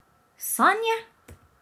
Sanje?